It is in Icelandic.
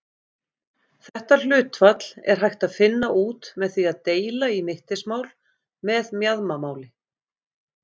Þetta hlutfall er hægt að finna út með því að deila í mittismál með mjaðmamáli.